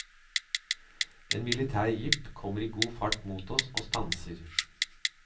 En militær jeep kommer i god fart mot oss og stanser.